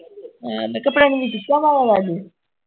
ਹਾਂ ਮੈਂ ਕਿਹਾ ਪ੍ਰਨਵੀ ਚੀਕਾਂ ਮਾਰਿਆ ਕਰਦੀ